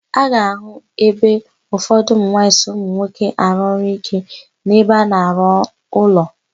A ga-àhụ́ ebe ụfọdụ ụmụnwaanyị so ụmụnwoke arụ ọrụ íké n'ebe a na-arụ ụlọ.